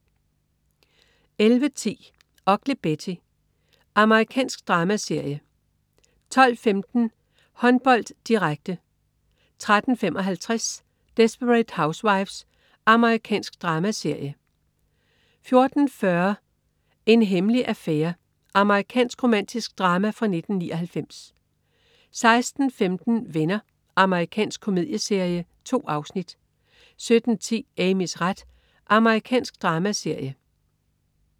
11.10 Ugly Betty. Amerikansk dramaserie 12.15 Håndbold, direkte 13.55 Desperate Housewives. Amerikansk dramaserie 14.40 En hemmelig affære. Amerikansk romantisk drama fra 1999 16.15 Venner. Amerikansk komedieserie. 2 afsnit 17.10 Amys ret. Amerikansk dramaserie